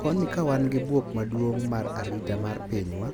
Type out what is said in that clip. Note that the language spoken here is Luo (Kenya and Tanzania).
"Koni ka wan gi bwok maduong' mar arita mar pinywa,